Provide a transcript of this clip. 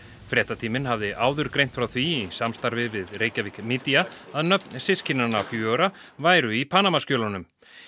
fréttatíminn hafði áður greint frá því í samstarfi við Reykjavik Media að nöfn systkinanna fjögurra væru í Panamaskjölunum